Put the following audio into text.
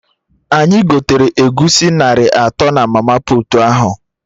Anyị gotere Egusi narị atọ na mama puutu ahụ